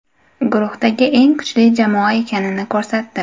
Guruhdagi eng kuchli jamoa ekanini ko‘rsatdi.